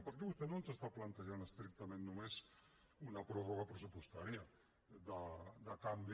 perquè vostè no ens està plantejant estrictament només una pròrroga pressupostària de canvi